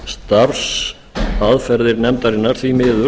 og starfsaðferðir nefndarinnar því miður